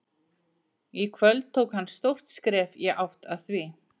Í kvöld tók hann stórt skref í átt að því.